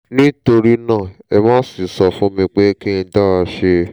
nítorí náà ẹ má ṣe sọ fún mi pé kí n dá ṣe é